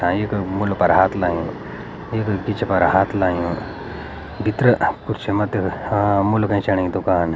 तां येक मूड पर हाथ लायुं येक गीच पर हाथ लायुं भीतर खुर्सी मा त अ मूल लगाईं साणी की दूकान।